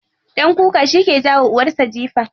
Ɗan kuka shike jawa uwarsa jifa.